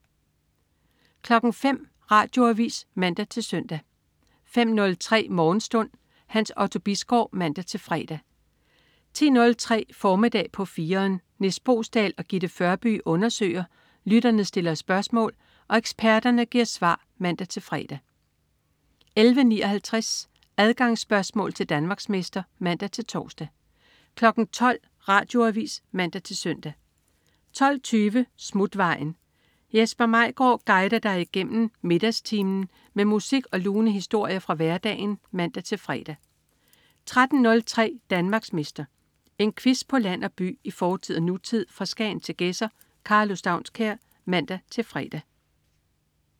05.00 Radioavis (man-søn) 05.03 Morgenstund. Hans Otto Bisgaard (man-fre) 10.03 Formiddag på 4'eren. Nis Boesdal og Gitte Førby undersøger, lytterne stiller spørgsmål og eksperterne giver svar (man-fre) 11.59 Adgangsspørgsmål til Danmarksmester (man-tors) 12.00 Radioavis (man-søn) 12.20 Smutvejen. Jesper Maigaard guider dig igennem middagstimen med musik og lune historier fra hverdagen (man-fre) 13.03 Danmarksmester. En quiz på land og by, i fortid og nutid, fra Skagen til Gedser. Karlo Staunskær (man-fre)